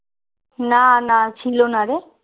না না ছিল না রে